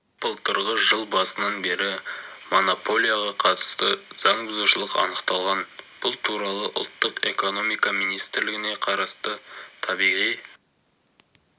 былтырғы жыл басынан бері монополияға қатысты заң бұзушылық анықталған бұл туралы ұлттық экономика министрлігіне қарасты табиғи